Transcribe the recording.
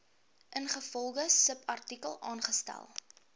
ingevolge subartikel aangestel